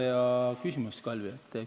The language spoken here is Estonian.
Väga hea küsimus, Kalvi!